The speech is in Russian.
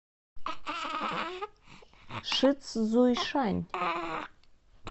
шицзуйшань